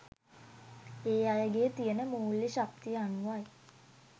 ඒ අයගෙ තියෙන මූල්‍ය ශක්තිය අනුවයි.